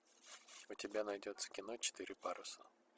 у тебя найдется кино четыре паруса